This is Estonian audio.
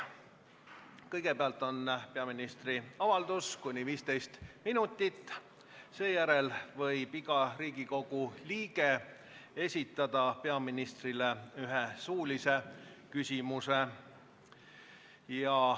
Kõigepealt on peaministri avaldus kuni 15 minutit, seejärel võib iga Riigikogu liige esitada peaministrile ühe suulise küsimuse.